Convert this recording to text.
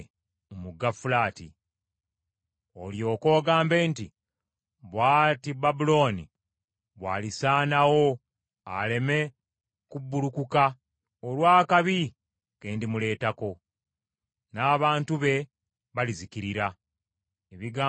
Olyoke ogambe nti, ‘Bw’ati Babulooni bwalisaanawo aleme kubbulukuka olw’akabi ke ndimuleetako. N’abantu be balizikirira.’ ” Ebigambo bya Yeremiya bikoma awo.